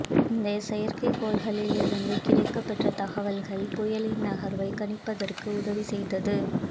இந்தச் செயற்கைக்கோள்களில் இருந்து கிடைக்கப்பெற்ற தகவல்கள் புயலின் நகர்வை கணிப்பதற்கு உதவி செய்தது